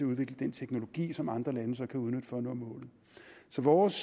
udvikle den teknologi som andre lande så kan udnytte for at nå målet så vores